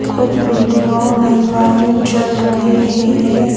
कुछ बिल्डिंगों में लाइट जल रही हैं।